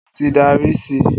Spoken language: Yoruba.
O ti n dara si.